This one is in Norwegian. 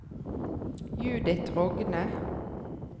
Judith Rogne